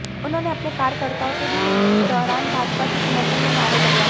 उन्होंने अपने कार्यकर्ताओं से भी इस दौरान भाजपा के समर्थन में नारे लगवाए